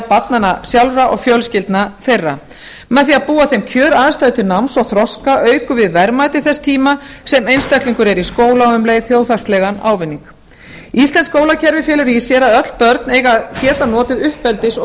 barnanna sjálfra og fjölskyldna þeirra með því að búa þeim kjöraðstæður til náms og þroska aukum við verðmæti þess tíma sem einstaklingur er í skóla og um leið þjóðhagslegan ávinning íslenskt skólakerfi felur í sér að öll börn eiga að geta notið uppeldis og